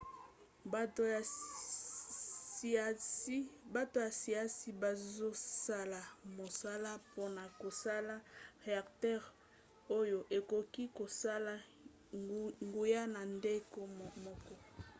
bato ya siansi bazosala mosala mpona kosala reacteur oyo ekoki kosala nguya na ndenge moko